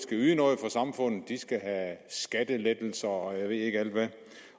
yde noget for samfundet de skal have skattelettelser og jeg ved ikke hvad